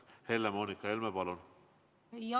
Helle-Moonika Helme, palun!